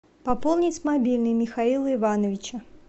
пополнить мобильный михаила ивановича